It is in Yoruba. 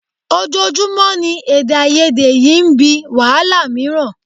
Ojoojúmọ́ ni èdèàìyedè yìí ń bí wàhálà mìíràn